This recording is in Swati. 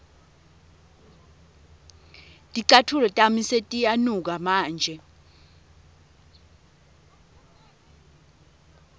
ticatfulo tami setiyanuka manje